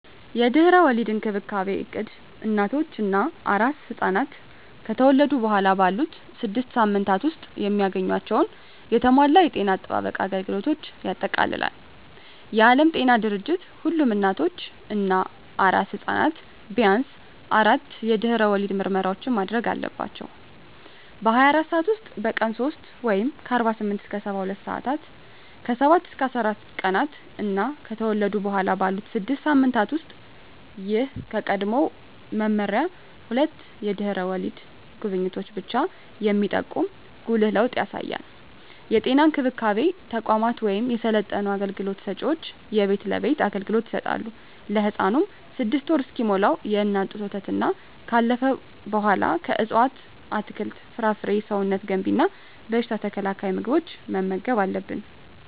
የድህረ ወሊድ እንክብካቤ እቅድ እናቶች እና አራስ ሕፃናት ከተወለዱ በኋላ ባሉት ስድስት ሳምንታት ውስጥ የሚያገኟቸውን የተሟላ የጤና አጠባበቅ አገልግሎቶችን ያጠቃልላል። የዓለም ጤና ድርጅት ሁሉም እናቶች እና አራስ ሕፃናት ቢያንስ አራት የድህረ ወሊድ ምርመራዎችን ማድረግ አለባቸው - በ24 ሰዓት ውስጥ፣ በቀን 3 (48-72 ሰአታት)፣ ከ7-14 ቀናት እና ከተወለዱ በኋላ ባሉት 6 ሳምንታት ውስጥ። ይህ ከቀድሞው መመሪያ ሁለት የድህረ ወሊድ ጉብኝቶችን ብቻ የሚጠቁም ጉልህ ለውጥ ያሳያል። የጤና እንክብካቤ ተቋማት ወይም የሰለጠኑ አገልግሎት ሰጭዎች የቤት ለቤት አገልግሎት ይሰጣሉ። ለህፃኑም 6ወር እስኪሞላው የእናት ጡት ወተትና ካለፈው በኃላ ከእፅዋት አትክልት፣ ፍራፍሬ ሰውነት ገንቢ እና በሽታ ተከላካይ ምግቦችን መመገብ አለብን